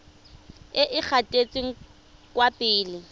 e e gatetseng kwa pele